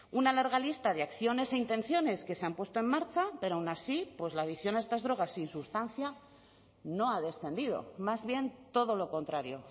una larga lista de acciones e intenciones que se han puesto en marcha pero aun así pues la adicción a estas drogas sin sustancia no ha descendido más bien todo lo contrario